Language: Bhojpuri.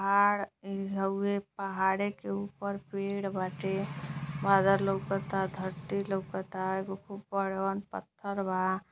पहाड़ ई हउवे। पहाड़े के ऊपर पेड़ बाटे। बादर लउकता धरती लउकता। एगो खूब बड़हन पत्थर बा।